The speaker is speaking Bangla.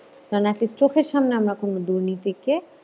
কারণ at least চোখের সামনে আমরা কোনো দুর্নীতিকে